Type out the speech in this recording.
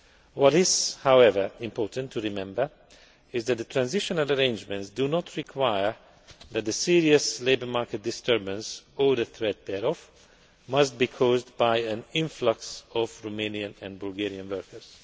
What is, however, important to remember is that the transitional arrangements do not stipulate that the serious labour market disturbance, or the threat thereof, must be caused by an influx of Romanian and Bulgarian workers.